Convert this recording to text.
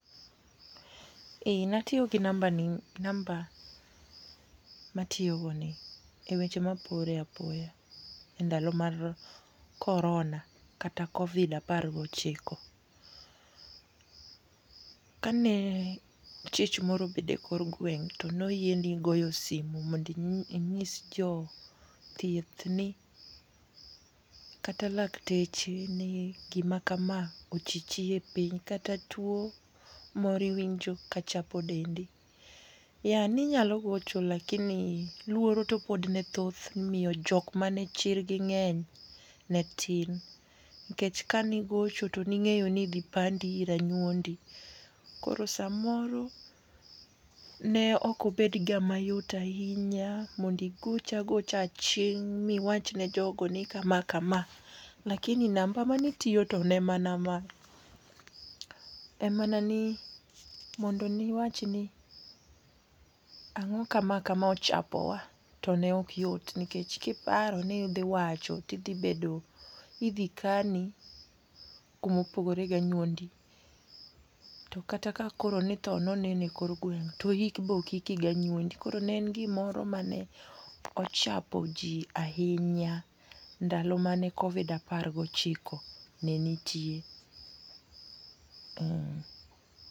Ee natiyo gi nambani gi namba matiyo go ni e weche mapore apoya endalo mar korona kata Covid apar gochiko. Kane chich moro obedo ekor gweng' to noyieni goyo simu mondo inyis jo thieth ni kata lakteche ni gima kama ochichi e piny kata tuo moro iwinjo ka chapo dendi. E ne inyalo gocho lakini luoro to pod ne thoth omiyo jok mane chirgi ng'eny ne tin, nikech ne ing'eyo ni kane igocho to ne idhi pandi ei anyuondi. Koro samoro ne ok obedga mayot ahinya mondo igoch agocha aching' ma iwach ni jogo ni kama kama, lakini namba mane tiyo to ne mana ma. En mana ni mondo ne iwach ni ang'o kama kama ochapowa to ne ok yot nikech kiparo ni idhi wacho to idhi bedo idhi kani kuma opogore gi anyuondi to kata kakoro ni tho ne oneno ekor gweng' to ik be ok iki gi anyuondi. Koro ne en gimoro mane ochapo ji ahinya ndalo mane kovid apar gi ochiko ne nitie